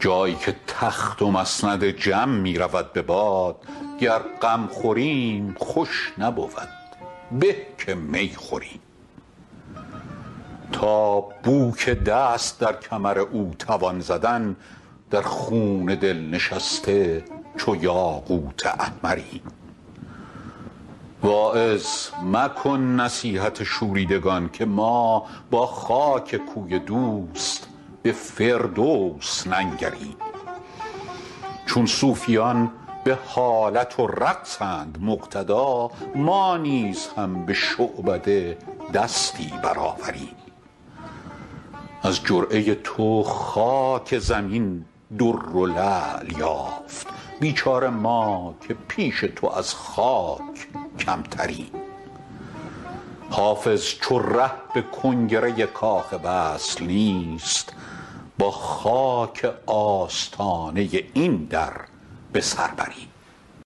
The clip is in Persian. جایی که تخت و مسند جم می رود به باد گر غم خوریم خوش نبود به که می خوریم تا بو که دست در کمر او توان زدن در خون دل نشسته چو یاقوت احمریم واعظ مکن نصیحت شوریدگان که ما با خاک کوی دوست به فردوس ننگریم چون صوفیان به حالت و رقصند مقتدا ما نیز هم به شعبده دستی برآوریم از جرعه تو خاک زمین در و لعل یافت بیچاره ما که پیش تو از خاک کمتریم حافظ چو ره به کنگره کاخ وصل نیست با خاک آستانه این در به سر بریم